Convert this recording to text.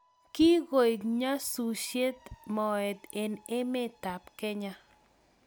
kigoek nyasusiet moet eng emetab Kenya